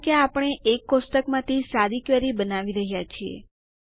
કારણકે આપણે એક કોષ્ટકમાંથી સાદી ક્વેરી બનાવી રહ્યા છીએ